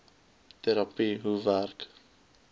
terapie hoe werk